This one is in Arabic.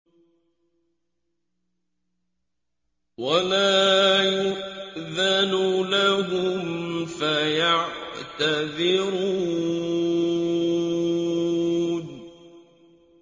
وَلَا يُؤْذَنُ لَهُمْ فَيَعْتَذِرُونَ